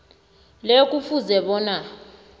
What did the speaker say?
le kufuze bona